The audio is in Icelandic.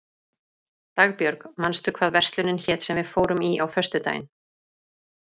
Dagbjörg, manstu hvað verslunin hét sem við fórum í á föstudaginn?